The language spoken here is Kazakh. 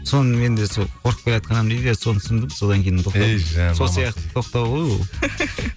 соны мен де сол қорқып келатқанмын дейді иә соны түсіндім содан кейін тоқтадым сол сияқты тоқтау ғой ол